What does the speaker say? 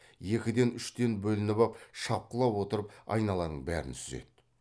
екіден үштен бөлініп ап шапқылап отырып айналаның бәрін сүзеді